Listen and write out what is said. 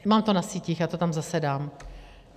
Mám to na sítích, já to tam zase dám.